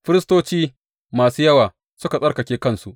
Firistoci masu yawa suka tsarkake kansu.